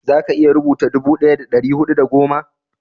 za ka iya rubuta dubu daya da dari hudu da goma?